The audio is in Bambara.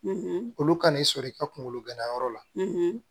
olu ka n'i sɔrɔ i ka kunkolo gɛnna yɔrɔ la